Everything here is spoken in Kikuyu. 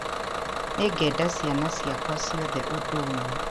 Nĩ ngenda ciana ciakwa ciothe ũndũ umwe